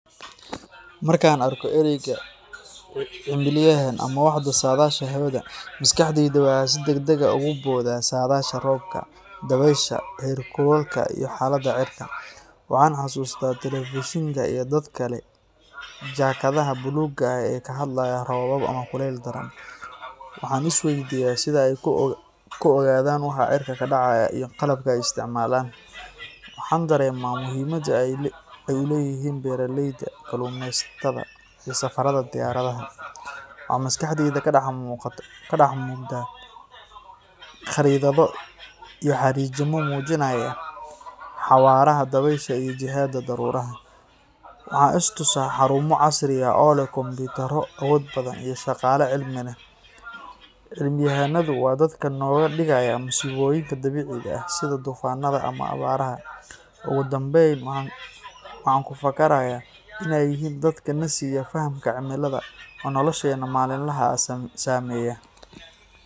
Markaan arko ereyga cimilayahan, ama "waaxda saadaasha hawada", maskaxdayda waxay si degdeg ah ugu booddaa saadaasha roobka, dabaysha, heerkulka iyo xaaladda cirka. Waxaan xasuustaa telefishinka iyo dadka leh jaakadaha buluugga ah ee ka hadlaya roobab ama kulayl daran. Waxaan is weydiiyaa sida ay ku ogaadaan waxa cirka ka dhacaya, iyo qalabka ay isticmaalaan. Waxaan dareemaa muhiimadda ay u leeyihiin beeraleyda, kalluumeysatada, iyo safarrada diyaaradaha. Waxaa maskaxdayda ka dhex muuqda khariidado iyo xariijimo muujinaya xawaaraha dabaysha iyo jihada daruuraha. Waxaan is tusaa xarumo casri ah oo leh kombiyuutarro awood badan iyo shaqaale cilmi leh. Cimilayahanadu waa dadka naga digaya masiibooyinka dabiiciga ah, sida duufaannada ama abaaraha. Ugu dambayn, waxaan ku fakarayaa in ay yihiin dadka na siiya fahamka cimilada, oo nolosheena maalinlaha ah saameeya.